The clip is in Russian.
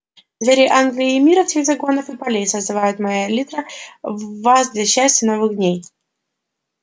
звери англии и мира всех загонов и полей созывает моя лира вас для счастья новых дней